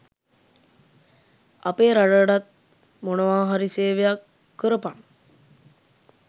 අපේ රටටත් මොනවා හරි සේවයක් කරපන්.